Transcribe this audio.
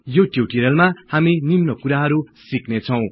यो ट्युटोरिअलमा हामी निम्न कुराहरु सिक्ने छौं